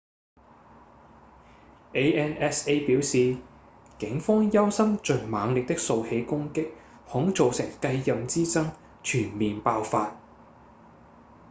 ansa 表示警方憂心最猛烈的數起攻擊恐造成繼任之爭全面爆發